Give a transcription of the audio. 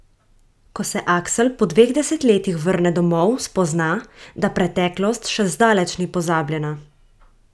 Ko se Aksl po dveh desetletjih vrne domov, spozna, da preteklost še zdaleč ni pozabljena.